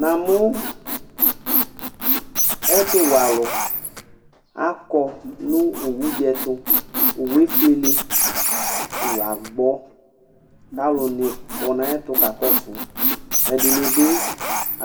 Namʊ ɛtʊwɛ alʊ akɔ nʊ owʊ dɩ ɛtʊ, owʊ efʊele kowʊ agbɔ, kalʊ nɩkɔ naƴɛtʊ kakɔsʊ, 3dɩnɩ bɩ